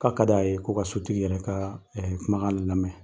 K'a ka d'a ye k'u ka sotigi yɛrɛ ka kumakan lamɛn.